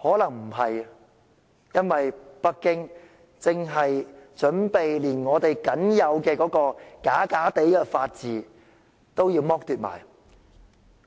可能沒有，因為北京正準備剝奪我們僅有的虛假法治，